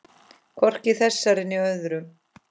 Hvorki í þessari né öðrum.